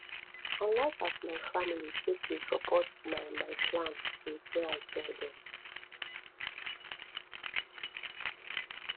i like as my family take dey support my my plans since wey i tell dem